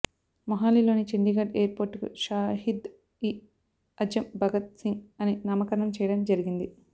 మొహాలీలోని చండీగఢ్ ఎయిర్పోర్టుకు షాహిద్ ఈ అజమ్ భగత్ సింగ్ అని నామకరణం చేయడం జరిగింది